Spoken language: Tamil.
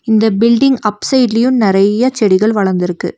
இந்த பில்டிங் அப் சைடுலயு நெறைய செடிகள் வளந்துருக்கு.